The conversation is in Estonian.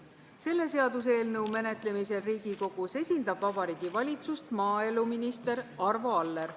Selle seaduseelnõu menetlemisel Riigikogus esindab Vabariigi Valitsust maaeluminister Arvo Aller.